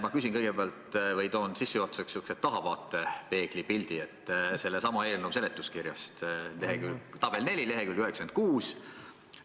Ma toon kõigepealt sissejuhatuseks sihukese tahavaatepeegli pildi sellesama eelnõu seletuskirjast – tabel 4 leheküljel 96.